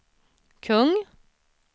kung